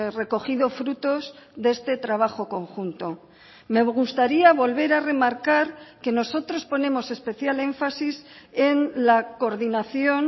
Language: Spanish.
recogido frutos de este trabajo conjunto me gustaría volver a remarcar que nosotros ponemos especial énfasis en la coordinación